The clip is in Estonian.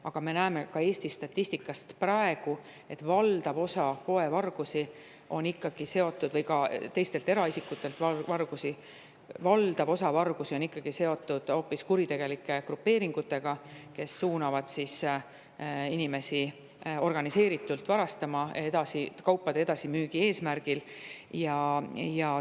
Aga me näeme ka Eesti statistikast praegu, et valdav osa poevargusi või ka eraisikutelt varastamisi on ikkagi seotud hoopis kuritegelike grupeeringutega, kes suunavad inimesi organiseeritult varastama, kaupade edasimüügi eesmärgil.